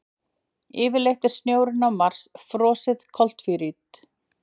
Yfirleitt er snjórinn á Mars frosið koltvíildi.